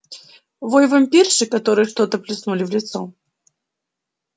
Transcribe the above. вой вампирши которой что-то плеснули в лицо